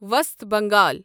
وسط بنگال